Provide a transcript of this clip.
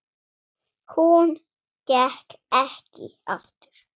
Hún gekk ekki aftur.